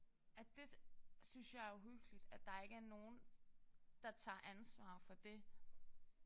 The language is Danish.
At det synes jeg er uhyggeligt at der ikke er nogen der tager ansvar for det